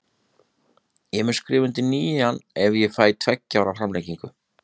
Ég mun skrifa undir nýjan ef ég fæ tveggja ára framlengingu.